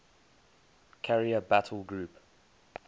carrier battle group